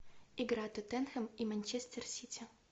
игра тоттенхэм и манчестер сити